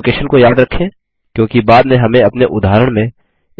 अब लोकेशन को याद रखें क्योंकि बाद में हमें अपने उदाहरण में